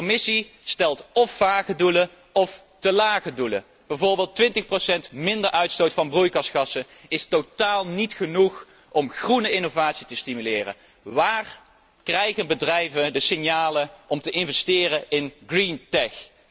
De Commissie stelt of vage doelen, of te lage doelen, bijvoorbeeld 20 procent minder uitstoot van broeikasgassen, hetgeen totaal niet genoeg is om groene innovatie te stimuleren. Hoe krijgen de bedrijven signalen om te investeren in greentech